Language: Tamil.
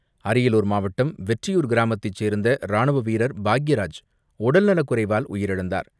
அரியலூர் மாவட்டம் வெற்றியூர் கிராமத்தைச் சேர்ந்த ராணுவ வீரர் பாக்கியராஜ் உடல்நலக்குறைவால் உயிரிழந்தார்.